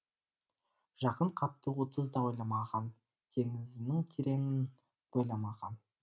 жақын қапты отызда ойламаған теңізінің тереңін бойламаған